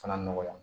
Fana nɔgɔya